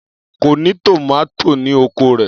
Kò ní tòmátò ní oko rẹ̀.